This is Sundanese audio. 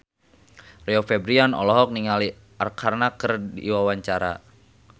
Rio Febrian olohok ningali Arkarna keur diwawancara